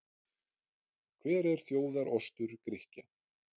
Hver er þjóðar-ostur Grikkja?